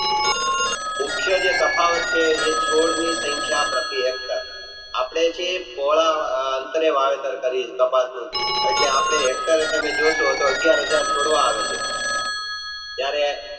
મુખ્ય જે તફાવત છે એ છોડ ની સંખ્યા પ્રતિ Hector આપણે છે જોશો તો અગિયાર હજાર છોડવા આવે ત્યરે